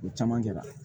U bɛ camancɛ la